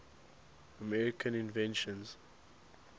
american inventions